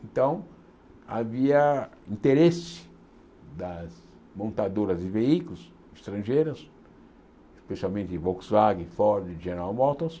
Então, havia interesse das montadoras de veículos estrangeiras, especialmente Volkswagen, Ford e General Motors,